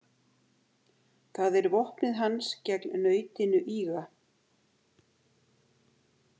Það er vopnið hans gegn nautinu ýga.